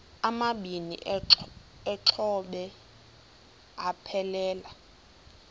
amabini exhobe aphelela